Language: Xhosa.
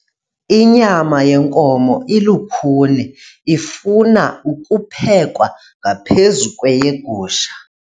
Inyama yenkomo ilukhuni ifuna ukuphekwa ngaphezu kweyegusha.